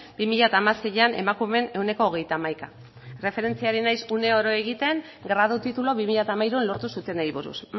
bi mila hamaseian emakumeen ehuneko hogeita hamaikaak erreferentzia ari naiz egiten uneoro gradu tituluak bi mila hamairuan lortu zutenei buruz